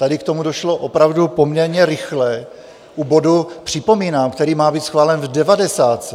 Tady k tomu došlo opravdu poměrně rychle u bodu, připomínám, který má být schválen v devadesátce.